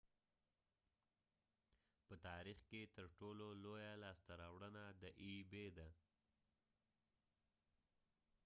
دا د ebay په تاریخ کې ترټولو لوی لاسته راوړنه ده